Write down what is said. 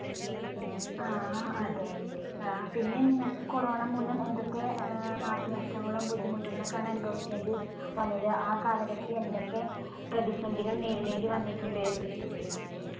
ആ അതെ പിന്നെ നിങ്ങൾക്ക് corona മൂലം എന്തൊക്കെ ഏർ നാശനഷ്ടങ്ങളും ബുദ്ധിമുട്ടുകളൊക്കാണ് അനുഭവിക്കേണ്ടി വന്നത് ആ കാലഘട്ടത്തിൽ എന്തൊക്കെ പ്രധിസന്ധികൾ നേരിടേണ്ടി വന്നിട്ടുണ്ട്?